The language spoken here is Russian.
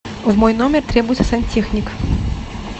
в мой номер требуется сантехник